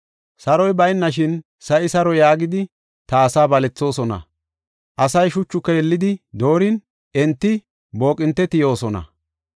“Saroy baynashin sa7i saro yaagidi ta asaa balethoosona. Asay shuchu keelidi doorin, enti booqinte tiyoosona.